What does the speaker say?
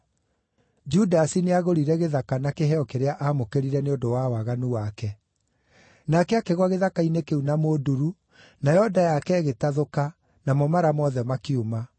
(Judasi nĩagũrire gĩthaka na kĩheo kĩrĩa aamũkĩrire nĩ ũndũ wa waganu wake. Nake akĩgũa gĩthaka-inĩ kĩu na mũnduru, nayo nda yake ĩgĩtathũka, namo mara mothe makiuma.